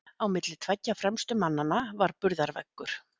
Á milli tveggja fremstu mannanna var burðarveggur.